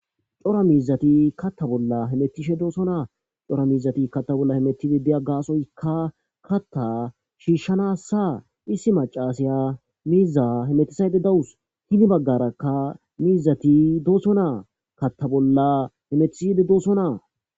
cora miizati katta bolla hemettishe doosonaa cora miizati katta bolla hemetide diya gaasoykka katta shiishshanassa issi macaasiya miiza hemetisayde dawus hini baggarakka miizati dooso naa katta bolla hemetisayde doosonaa